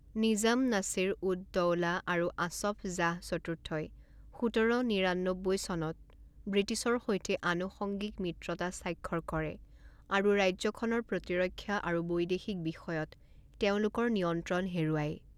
নিজাম নাছিৰ উদ দওলা আৰু আছফ জাহ চতুৰ্থই সোতৰ নিৰান্নব্বৈ চনত ব্ৰিটিছৰ সৈতে অনুসংগিক মিত্ৰতা স্বাক্ষৰ কৰে আৰু ৰাজ্যখনৰ প্ৰতিৰক্ষা আৰু বৈদেশিক বিষয়ত তেওঁলোকৰ নিয়ন্ত্ৰণ হেৰুৱায়।